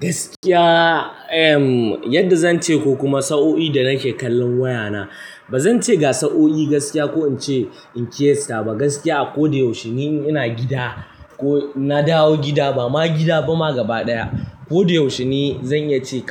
Gaskiya, yadda zan ce ko kuma sa'o'i da nake kallon wayana. Ba zan ce ga sa'o'i gaskiya ko in ce in qiyasta ba. Gaskiya a ko da yaushe ni ina gida ko na dawo gida, ba ma gida ba, gaba ɗaya. Ko da yaushe ni zan iya cewa,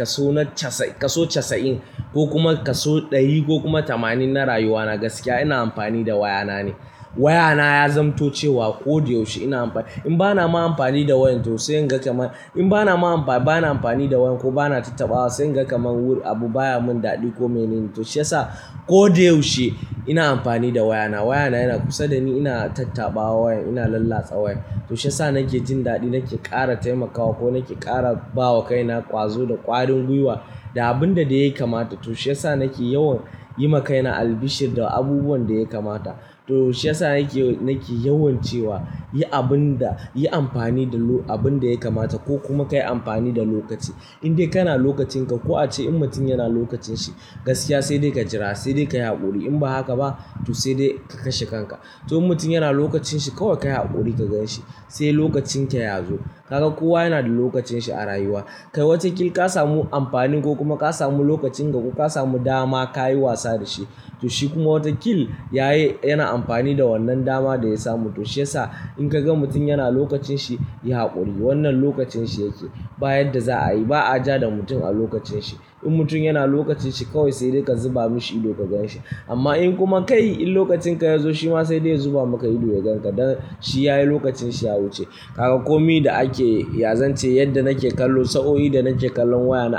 kaso casa'in ko kuma kaso ɗari ko kuma tamanin na rayuwa na gaskiya ina amfani da wayana ne. Wayana ya zamto cewa ko da yaushe ina amfani. In ba na ma amfani da wayan to sai in ga kamar In ba na ma amfani, ba na amfani da wayan ko ba na tattabawa sai in ga kamar abu baya mun daɗi ko mene ne. To shiyasa ko da yaushe ina amfani da wayana. Wayana yana kusa da ni, ina tattabawa wayan, ina lallatsa wayan. To shiyasa nake jin daɗi, nake ƙara taimakawa ko nake ƙara bawa kaina ƙwazo da ƙwarin gwiwa da abin da dai yake mata. To shiyasa nake yawan yi ma kaina albishir da abubuwan da ya kamata. To shiyasa nake, nake yawan cewa, yi abin da, yi amfani da abin da ya kamata ko kuma ka yi amfani da lokaci. Indai kana lokacin ka, ko a ce in mutum yana lokacin shi gaskiya sai dai ka jira, sai dai ka yi haƙuri. In ba haka ba to sai dai ka kashe kanka. To mutum yana lokacin shi, kawai ka yi haƙuri ka gan shi, sai lokacin ka ya zo. Kaga kowa yana da lokacin shi a rayuwa. Kai wata kil ka samu amfani ko kuma ka samu lokacin ka ko ka samu dama ka yi wasa da shi. To shi kuma wata kil yayi, yana amfani da wannan dama da ya samu. To shiyasa in ka ga mutum yana lokacin shi, yi haƙuri. Wannan lokacin shi yake. Ba yanda za'a yi ba a ja da mutum a lokacin shi. In mutum yana lokacin shi kawai sai dai ka zuba mishi ido ka gan shi. Amma in kuma kai, in lokacin ka ya zo shi ma sai dai ya zuba maka ido ya gan ka. Dan shi ya yi lokacin shi ya wuce. Kaga kome da ake, ya zance yadda nake kallo sa'o'i da nake kallon wayana,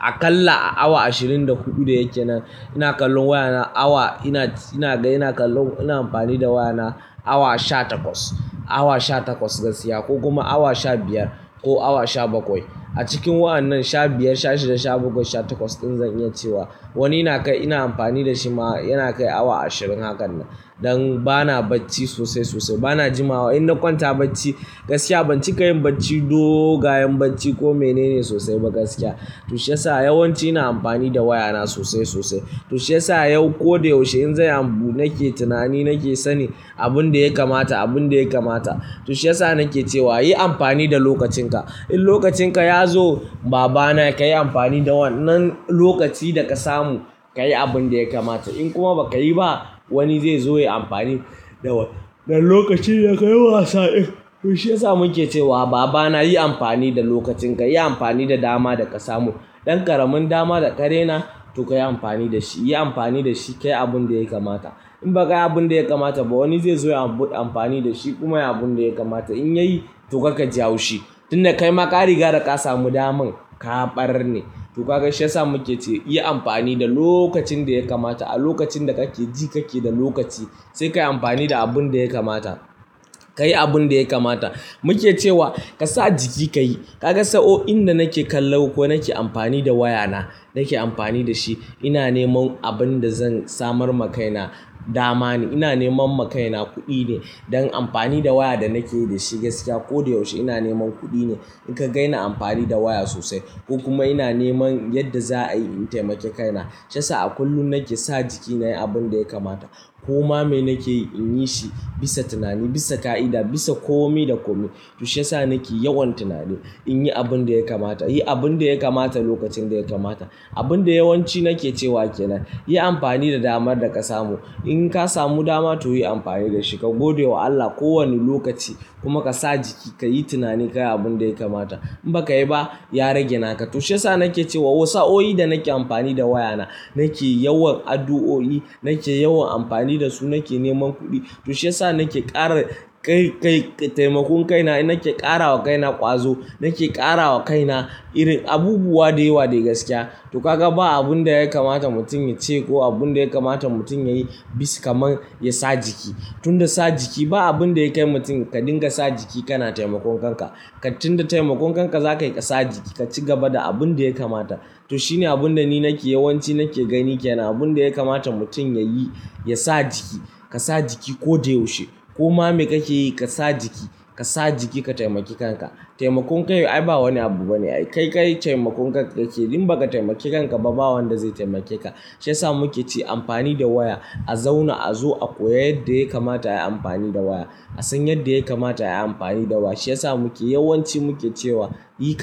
aƙalla a awa ashirin da huɗu da yake nan ina kallon wayana awa ina, ina ga ina kallon, ina amfani da wayana awa sha takwas. Awa sha takwas gaskiya ko kuma awa sha biyar ko awa sha bakwai. A cikin wa'annan sha biyar, sha shida, sha bakwai, sha takwas in zan iya cewa wani ina kai ina amfani da shi ma yana kai awa ashirin hakan nan. Dan bana bacci sosai sosai, bana jimawa In na kwanta bacci gaskiya ban cika yin bacci dogayen bacci ko mene ne sosai ba gaskiya. To shiyasa yawanci ina amfani da wayana sosai sosai. To shiyasa yau ko da yaushe in zai abu nake tunani, nake sanin abin da ya kamata, abin da ya kamata. To shiyasa nake cewa yi amfani da lokacin ka. In lokacin ka ya zo baba na ka yi amfani da wannan lokaci da ka samu, ka yi abin da ya kamata. In kuma ba ka yi ba wani zai zo ya yi amfani da wannan lokacin da ka yi wasa. Eh. To shiyasa muke cewa baba na yi amfani da lokacin ka, yi amfani da dama da ka samu. Dan ƙaramin dama da ka raina to ka yi amfani da shi. Yi amfani da shi ka yi abun da ya kamata. In ba ka yi abun da ya kamata ba wani zai zo ya abu amfani da shi kuma yayi abun da ya kamata. In ya yi to karka ji haushi. Tunda kai maka riga da ka samu daman, ka ba ri ne. To kaga shiyasa muke cewa yi amfani da lokacin da ya kamata. A lokacin da kake ji kake da lokaci sai ka yi amfani da abun da ya kamata. Ka yi abun da ya kamata. Muke cewa ka sa jiki ka yi. Kaga sa'o'in da nake kallo ko nake amfani da wayana, na ke amfani da shi ina neman abin da zan samar ma kaina dama ne. Ina neman ma kaina kuɗi ne. Dan amfani da waya da nake da shi gaskiya ko da yaushe ina neman kuɗi ne. In ka ga ina amfani da waya sosai ko kuma ina neman yadda za a iya in taimake kaina. Shiyasa a kullum nake sa jiki na yi abun da ya kamata. Ko ma me nake yi in yi shi bisa tunani, bisa ƙa'ida, bisa kome da kome. To shiyasa nake yawan tunani in yi abun da ya kamata, yi abun da ya kamata lokacin da ya kamata. Abun da yawanci nake cewa ke nan. Yi amfani da damar da ka samu. In ka samu dama to yi amfani da shi. Ka gode wa Allah ko wani lokaci kuma ka sa jiki ka yi tunani ka yi abun da ya kamata. In ba ka yi ba ya rage naka. To shiyasa nake cewa sa'o'i da nake amfani da wayana nake yawan addu'o'i, nake yawan amfani da su nake neman kuɗi. To shiyasa nake ƙara taimakon kaina nake ƙarawa kaina ƙwazo, nake ƙarawa kaina irin abubuwa da yawa da gaskiya. To kaga ba abun da ya kamata mutum ya ce ko abun da ya kamata mutum ya yi bisa kamar ya sa jiki. Tunda sa jiki ba abun da ya kai mutum ka dinga sa jiki kana taimakon kanka. Tunda taimakon kanka za ka yi ka sa jiki ka ci gaba da abun da ya kamata. To shine abun da ni nake yawanci nake gani ke nan. Abun da ya kamata mutum ya yi, ya sa jiki. Ka sa jiki ko da yaushe. Kuma me kake yi ka sa jiki. Ka sa jiki ka taimaki kanka. Taimakon kai ai ba wani abu bane. Kai, ka yi taimakon kanka ka ke. In ba ka taimaki kanka ba, ba wanda zai taimake ka. Shiyasa muke ce amfani da waya a zauna a zo, a koya yadda ya kamata a yi amfani da waya. A san yadda ya kamata a yi amfani da waya. Shiyasa muke yawanci muke cewa yi ka.